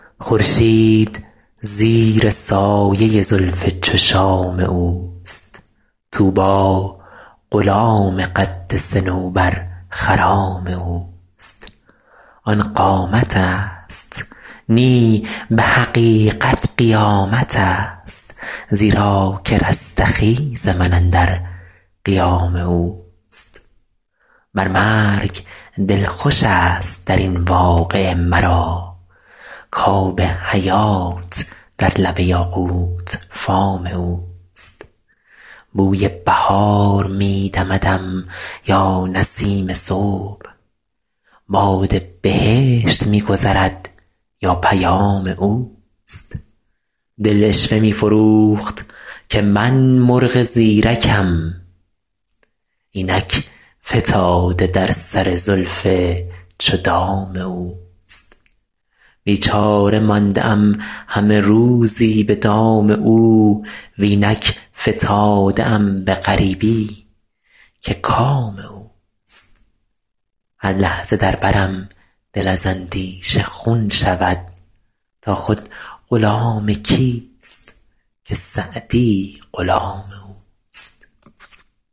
خورشید زیر سایه زلف چو شام اوست طوبی غلام قد صنوبرخرام اوست آن قامتست نی به حقیقت قیامتست زیرا که رستخیز من اندر قیام اوست بر مرگ دل خوشست در این واقعه مرا کآب حیات در لب یاقوت فام اوست بوی بهار می دمدم یا نسیم صبح باد بهشت می گذرد یا پیام اوست دل عشوه می فروخت که من مرغ زیرکم اینک فتاده در سر زلف چو دام اوست بیچاره مانده ام همه روزی به دام او و اینک فتاده ام به غریبی که کام اوست هر لحظه در برم دل از اندیشه خون شود تا خود غلام کیست که سعدی غلام اوست